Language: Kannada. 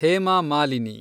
ಹೇಮಾ ಮಾಲಿನಿ